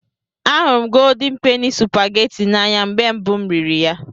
Ahụrụ m Goldin Peni Supageti n'anya mgbe mbụ m riri ya.